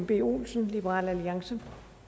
b olsen liberal alliance